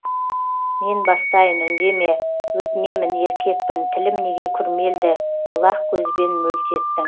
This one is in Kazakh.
мен бастайын үндеме өтінемін еркекпін тілім неге күрмелді бұлақ көзбен мөлт еттің